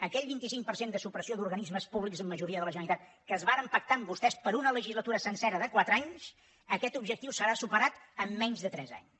aquell vint cinc per cent de supressió d’organismes públics en majoria de la generalitat que es va pactar amb vostès per una legislatura sencera de quatre anys aquest objectiu serà superat en menys de tres anys